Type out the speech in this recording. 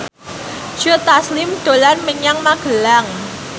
Joe Taslim dolan menyang Magelang